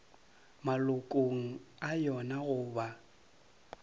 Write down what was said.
malokong a yona go ba